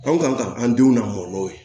Anw kan ka an denw lamɔ n'o ye